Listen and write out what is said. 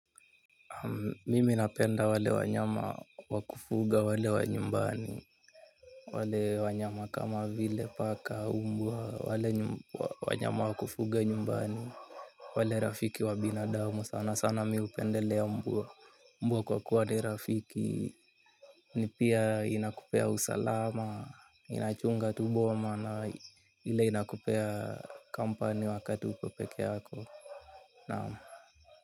Mimi napenda wale wanyama wa kufuga wale wa nyumbani. Wale wanyama kama vile paka mbwa wanyama wa kufuga nyumbani. Wale rafiki wa binadamu sana sana mi hupendelea mbwa kwa kuwa ni rafiki. Ni pia inakupea usalama inachunga tu boma na ile inakupea kampani wakati uko peke yako. Naam.